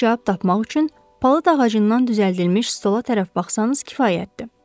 Suana cavab tapmaq üçün palıd ağacından düzəldilmiş stola tərəf baxsannız kifayətdir.